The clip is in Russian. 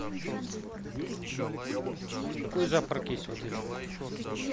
какой завтрак есть в отеле